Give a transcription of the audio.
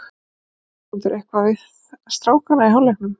Sagði Ásmundur eitthvað við strákana í hálfleiknum?